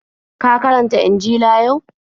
Ka karanta Injila yau?